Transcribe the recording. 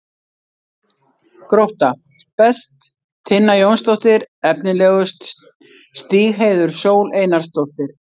Grótta: Best: Tinna Jónsdóttir Efnilegust: Stígheiður Sól Einarsdóttir